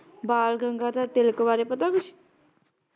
ਬਾਲ ਗੰਗਾਧਰ ਤਿਲਕ ਬਾਰੇ ਪਤਾ ਕੁਛ?